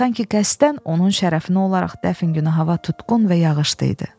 Sanki qəsdən onun şərəfinə olaraq dəfn günü hava tutqun və yağışlı idi.